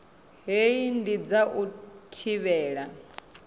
hei ndi dza u thivhela